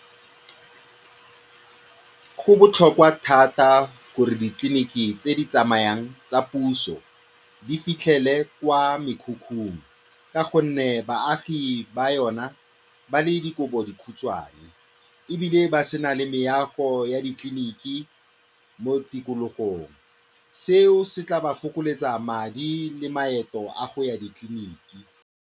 Go botlhokwa thata gore ditleliniki tse di tsamayang tsa puso di fitlhele kwa mekhukhung ka gonne baagi ba yona ba le dikobodikhutshwane ebile ba se na le meago ya ditleliniki mo tikologong, seo se tla ba fokoletsa madi le maeto a go ya ditleliniki.